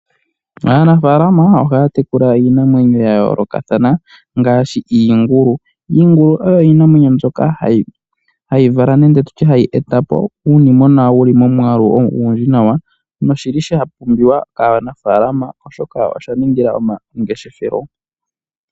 Aanafalama ohaya tekula iinamwenyo ya yoolokathana ngaashi iingulu. Iingulu oyo iinamwenyo mbyoka hayi vala nenge tutye hayi eta po iinimona wuli momwalu ogundji nawa noshili sha pumbiwa kaananalama oshoka osha ningila omangeshefelo.